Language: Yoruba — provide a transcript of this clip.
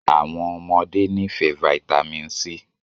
Àwọn ọmọdé nifẹ Vitamin c